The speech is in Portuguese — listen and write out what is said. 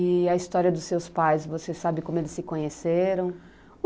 E a história dos seus pais, você sabe como eles se conheceram?